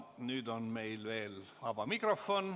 Nüüd on meil veel vaba mikrofon.